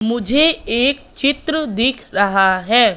मुझे एक चित्र दिख रहा है।